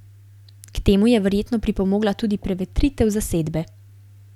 K temu je verjetno pripomogla tudi prevetritev zasedbe.